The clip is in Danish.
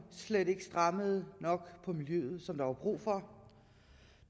ikke strammede nok op på miljøet som der var brug for